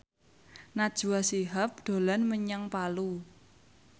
Najwa Shihab dolan menyang Palu